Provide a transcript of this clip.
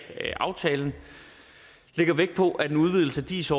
aftalen lægger vægt på at en udvidelse af dis